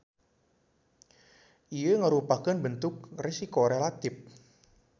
Ieu ngarupakeun bentuk resiko relatip.